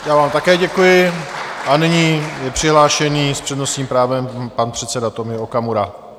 Já vám také děkuji a nyní je přihlášen s přednostním právem pan předseda Tomio Okamura.